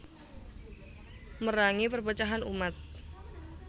Merangi perpecahan umat